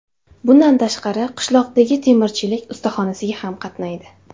Bundan tashqari qishloqdagi temirchilik ustaxonasiga ham qatnaydi.